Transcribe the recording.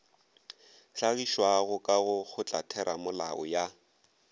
hlagišwago ka go kgotlatheramolao ya